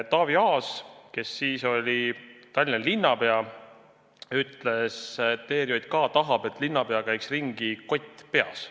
Taavi Aas, kes siis oli Tallinna linnapea, ütles, et ERJK tahab, et linnapea käiks ringi, kott peas.